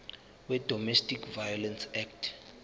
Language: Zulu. wedomestic violence act